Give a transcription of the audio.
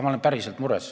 Ma olen päriselt mures.